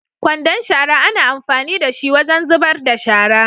kwandon shara ana amfani dashi wajen zubar da shara.